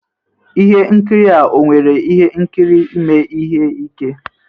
Ihe nkiri a ọ nwere ihe nkiri ime ihe ike